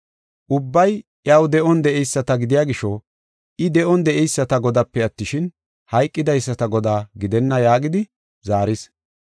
Ubbay iyaw de7on de7eyisata gidiya gisho I de7on de7eyisata Godaape attishin, hayqidaysata Godaa gidenna” yaagidi zaaris.